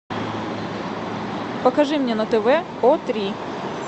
покажи мне на тв о три